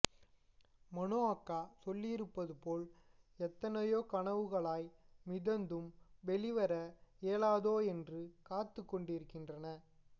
மனோ அக்கா சொல்லியிருப்பது போல் எத்தனையோ கனவுகளாய் மிதந்தும் வெளிவர இயலாதோ என்று காத்துக் கொண்டிருக்கின்றன